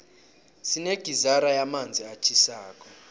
sinegizara yamanzi atjhisako